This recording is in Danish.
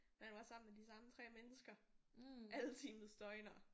Man var sammen med de samme 3 mennesker alle timets døgner